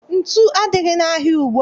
Ntu adịghị n'ahịa ugbua